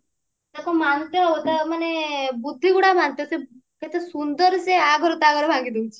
ତାକୁ ମାନେ ତା ବୁଦ୍ଧି ଗୁଡା ଭ୍ରାନ୍ତ କେତେ ସୁନ୍ଦର ସେ ୟା ଘର ତା ଘର ଭାଙ୍ଗି ଦଉଛି